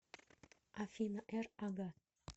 афина р ага